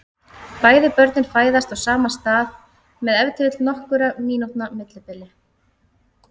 Bæði börnin fæðast á sama stað með ef til vill nokkurra mínútna millibili.